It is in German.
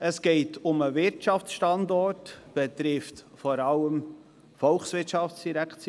Es geht um den Wirtschaftsstandort, weshalb es vor allem die VOL betrifft.